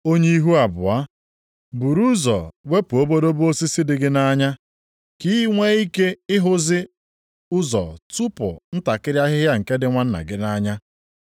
Onye ihu abụọ! Buru ụzọ wepụ obodobo osisi dị gị nʼanya ka i nwee ike ịhụzi ụzọ tụpụ ntakịrị ahịhịa nke dị nwanna gị nʼanya.